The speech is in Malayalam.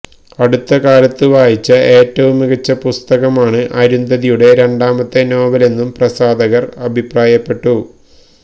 അടുത്ത കാലത്ത് വായിച്ച ഏറ്റവും മികച്ച പുസ്തകമാണ് അരുന്ധതിയുടെ രണ്ടാമത്തെ നോവലെന്നും പ്രസാധകര് അഭിപ്രായപ്പെട്ടിരുന്നു